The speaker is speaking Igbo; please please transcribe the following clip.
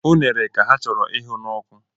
Unere ka ha chọrọ ịhụ n'oku